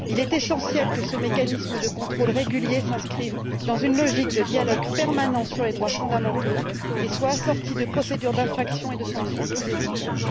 Il est essentiel que ce mécanisme de contrôle régulier s'inscrive dans une logique de dialogue permanent sur les droits fondamentaux et soit assorti de procédures d'infraction et de sanctions plus efficaces.